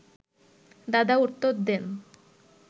দাদা উত্তর দেন